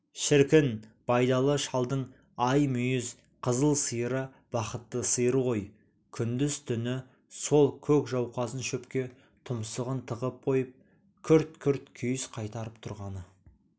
шіркін байдалы шалдың ай мүйіз қызыл сиыры бақытты сиыр ғой күндіз-түні сол көк жауқазын шөпке тұмсығын тығып қойып күрт-күрт күйіс қайтарып тұрғаны